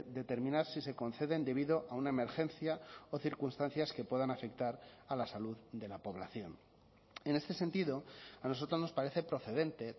determinar si se conceden debido a una emergencia o circunstancias que puedan afectar a la salud de la población en este sentido a nosotros nos parece procedente